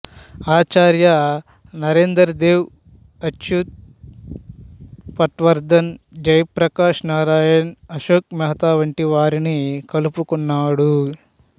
ఆచార్య నరేందర్ దేవ్ అచ్యుత్ పట్వర్ధన్ జయ ప్రకాశ్ నారాయణ్ అశోక్ మెహతా వంటి వారిని కలుపుకున్నాడు